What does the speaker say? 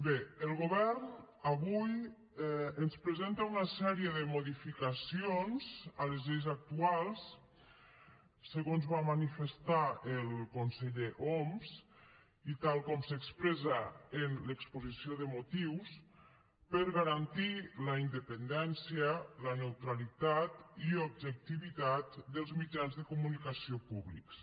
bé el govern avui ens presenta una sèrie de modificacions a les lleis actuals segons va manifestar el conseller homs i tal com s’expressa en l’exposició de motius per garantir la independència la neutralitat i objectivitat dels mitjans de comunicació públics